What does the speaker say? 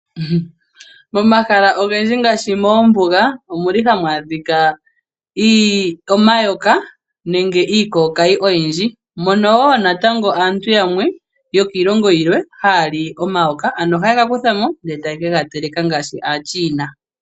Momahala ogendji ngaashi moombuga omu li hamu adhika omayoka nenge iikokayi oyindji mono wo natango aantu yamwe yokiilongo yilwe haya li omayoka ano oha ye ga kuthamo ndele e taye kega teleka ngaashi aachina.